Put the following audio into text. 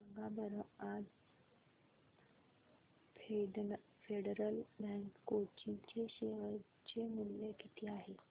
सांगा बरं आज फेडरल बँक कोची चे शेअर चे मूल्य किती आहे